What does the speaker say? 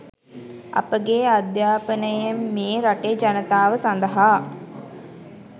අපගේ අධය්‍යාපනයමේ රටේ ජනතාව සඳහා